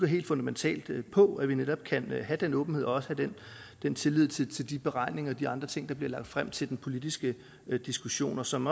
helt fundamentalt bygger på altså at vi netop kan have den åbenhed og også have den tillid til de beregninger og de andre ting der bliver lagt frem til den politiske diskussion og som